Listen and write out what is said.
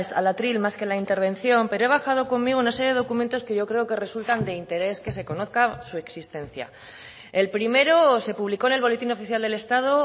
al atril más que la intervención pero he bajado conmigo una serie de documentos que yo creo que resultan de interés que se conozcan su existencia el primero se publicó en el boletín oficial del estado